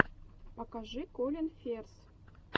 покажи колин ферз